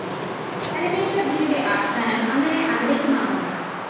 പരമേശ്വര്‍ജിയുടെ ആസ്ഥാനം അങ്ങനെ അവിടേക്ക് മാറുന്നു